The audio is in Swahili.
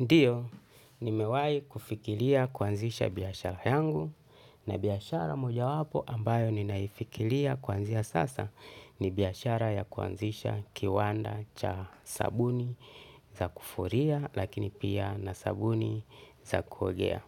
Ndiyo, nimewai kufikiria kuanzisha biashara yangu na biashara moja wapo ambayo ninaifikiria kuanzia sasa ni biashara ya kuanzisha kiwanda cha sabuni za kufulia lakini pia na sabuni za kuogea.